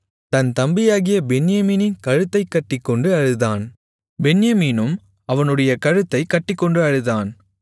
தன் தம்பியாகிய பென்யமீனின் கழுத்தைக் கட்டிக்கொண்டு அழுதான் பென்யமீனும் அவனுடைய கழுத்தைக் கட்டிக்கொண்டு அழுதான்